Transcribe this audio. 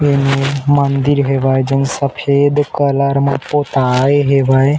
ए मेर मंदिर हेवय जउन सफ़ेद कलर म पोताए हेवय।